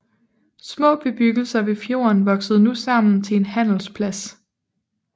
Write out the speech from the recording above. Små bebyggelser ved fjorden voksede nu sammen til en handelsplads